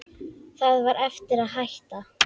Það var erfitt að hætta.